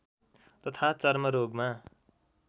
तथा चर्मरोगमा